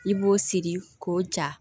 I b'o siri k'o ja